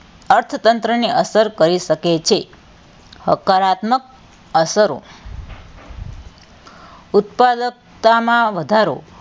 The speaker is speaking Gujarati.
અર્થતંત્ર ને અસર કરી શકે છે હકારાત્મક અસરો ઉત્પાદકતામાં વધારો,